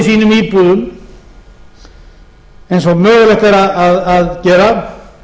sínum íbúðum eins og mögulegt er að gera